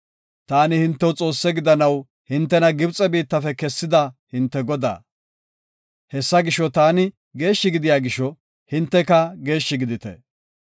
Taani hintew Xoosse gidanaw hintena Gibxe biittafe kessida hinte Godaa. Hesaa gisho, taani geeshshi gidiya gisho, hinteka geeshshi gidite.